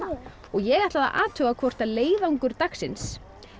ég ætla að athuga hvort leiðangur dagsins